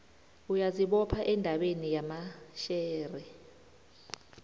uyazibopha endabeni yamashare